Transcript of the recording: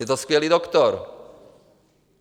Je to skvělý doktor.